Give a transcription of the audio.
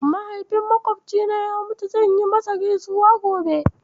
Mahaifin maƙwofcina ya mutu, zan yi masa gaisuwa gobe.